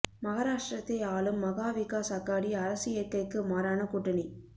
மகாராஷ்டிரத்தை ஆளும் மகா விகாஸ் அகாடி அரசு இயற்கைக்கு மாறான கூட்டணி